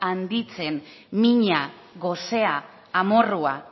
handitzen mina gosea amorrua